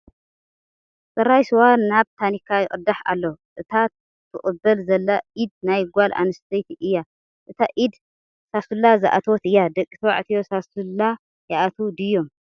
ፅራይ ስዋ ናብ ቲኒካ ይቕዳሕ ኣሎ፡፡ እታ ትቕበል ዘላ ኢድ ናይ ጓል ኣነስተይቲ እያ፡፡ እታ ኢድ ሳሱላ ዝኣተወት እያ፡፡ ደቂ ተባዕትዮ ሳስላ ይኣትዉ ድዮም?